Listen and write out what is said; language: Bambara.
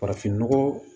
Farafinnɔgɔ